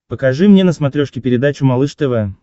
покажи мне на смотрешке передачу малыш тв